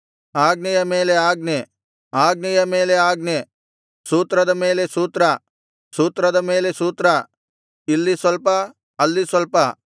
ಆಜ್ಞೆಯ ಮೇಲೆ ಆಜ್ಞೆ ಆಜ್ಞೆಯ ಮೇಲೆ ಆಜ್ಞೆ ಸೂತ್ರದ ಮೇಲೆ ಸೂತ್ರ ಸೂತ್ರದ ಮೇಲೆ ಸೂತ್ರ ಇಲ್ಲಿ ಸ್ವಲ್ಪ ಅಲ್ಲಿ ಸ್ವಲ್ಪ